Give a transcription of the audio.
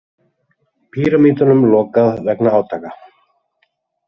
Pýramídunum lokað vegna átaka